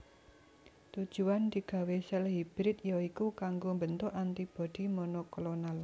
Tujuan digawé sèl hibrid ya iku kanggo mbentuk antibodi monoklonal